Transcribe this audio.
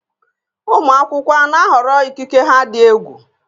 Ụmụ akwụkwọ a na-ahọrọ ikike ha dị egwu?